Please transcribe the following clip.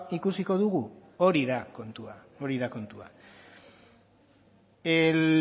ikusiko dugu hori da kontua hori da kontua el